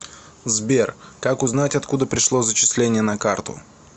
сбер как узнать откуда пришло зачисление на карту